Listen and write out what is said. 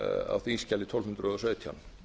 á þingskjali tólf hundruð og sautján